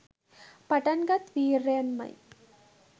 පටන්ගත් වීර්යයෙන්ම යි.